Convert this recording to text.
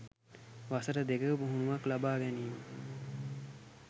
වසර දෙකක පුහුණුවක් ලබා ගැනීම.